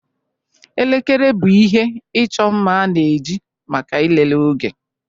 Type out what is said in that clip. Elekere bụ ihe ịchọ mma a na-eji maka ịlele oge